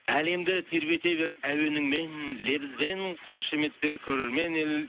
әлемді тербете бер әуеніңмен лебізбен қошеметтер көрермен ел